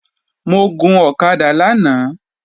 Mo gun ọ̀kadà lánàá